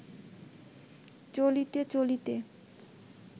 চলিতে চলিতে